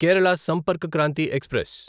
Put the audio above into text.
Kerala Sampark Kranti express